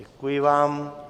Děkuji vám.